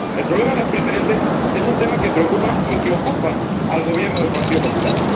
El problema de las preferentes es un tema que preocupa y que ocupa al Gobierno del Partido Popular.